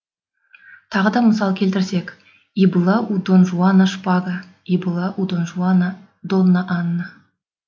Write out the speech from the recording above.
тағы да мысал келтірсек и была у дон жуана шпага и была у дон жуана донна анна